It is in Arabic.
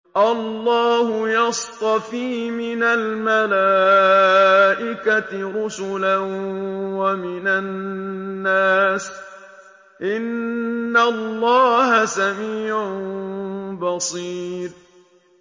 اللَّهُ يَصْطَفِي مِنَ الْمَلَائِكَةِ رُسُلًا وَمِنَ النَّاسِ ۚ إِنَّ اللَّهَ سَمِيعٌ بَصِيرٌ